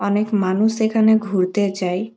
অনেক মানুষ এখানে ঘুরতে যায়।